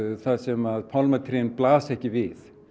þar sem að pálmatrén blasa ekki við